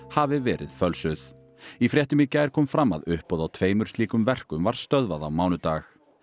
hafi verið fölsuð í fréttum í gær kom fram að uppboð á tveimur slíkum verkum var stöðvað á mánudag